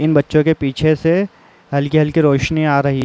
इन बच्चों के पीछे से हल्की हल्की रोशनी आ रही --